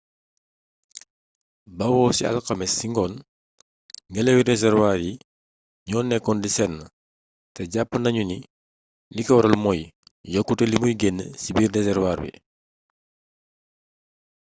bawoo ci alxamis ci ngoon ngenlawi reservoir yi ñoo nekkoon di seen te jàpp nañu ni liko waral mooy yokkutey limuy génnee ci biir reservoir bi